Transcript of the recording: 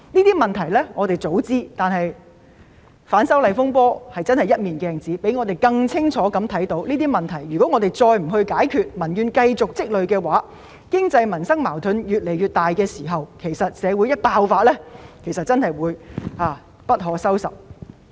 雖然我們早知道這些問題，但反修例風波猶如一面鏡子，讓我們更清楚看到這些問題，如果我們再不解決這些問題，讓民怨繼續積累下去，當經濟、民生矛盾越來越大的時候，所引發出來的危機真的會一發不可收拾。